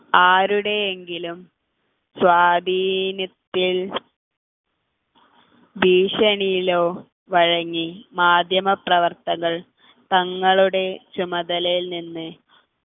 ആരുടെ എങ്കിലും സ്വാധീനത്തിൽ ഭീഷണിയിലോ വഴങ്ങി മാധ്യമപ്രവർത്തകർ തങ്ങളുടെ ചുമതലയിൽ നിന്ന്